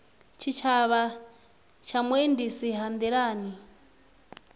tshitshavha ya vhuendisi ha nḓilani